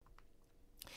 DR1